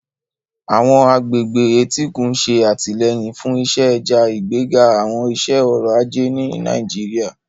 Àwọn agbègbè etíkun ń ṣe àtìlẹ́yìn fún iṣẹ́ ẹja, ìgbéga àwọn iṣẹ́ ọrọ̀ ajé ní Nàìjíríà.